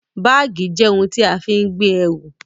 Báàgì jẹ́ ohun tí a fi ń gbé ẹrù